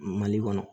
Mali kɔnɔ